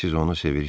Siz onu sevirsiz?